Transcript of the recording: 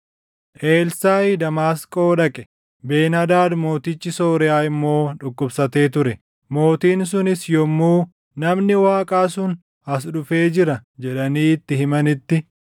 Elsaaʼi Damaasqoo dhaqe; Ben-Hadaad mootichi Sooriyaa immoo dhukkubsatee ture. Mootiin sunis yommuu, “Namni Waaqaa sun as dhufee jira” jedhanii itti himanitti,